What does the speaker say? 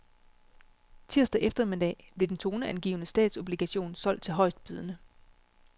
Tirsdag eftermiddag blev den toneangivende statsobligation solgt til højestbydende.